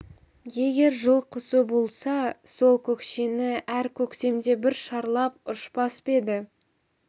егер жылқұсы болса сол көкшені әр көктемде бір шарлап ұшпас па еді